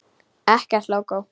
Ekkert lógó.